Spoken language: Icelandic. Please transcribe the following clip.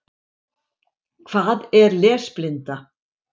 Hvað er lesblinda?